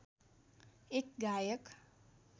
एक गायक